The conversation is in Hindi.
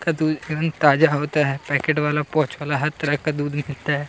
का दूध एकदम ही ताजा होता है पैकेट वाला पाउच वाला हर तरह का दूध मिलता है।